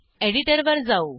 एडिटरवर जाऊ